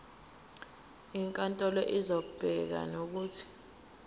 inkantolo izobeka nokuthi